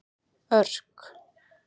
Örk